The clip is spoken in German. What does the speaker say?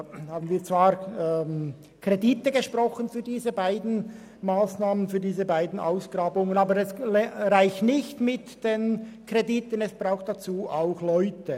Für die dortigen Ausgrabungen haben wir Kredite gesprochen, aber die Kredite reichen nicht aus, es braucht dazu auch Leute.